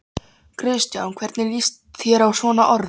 Kristján: Hvernig lýst þér á svona orð?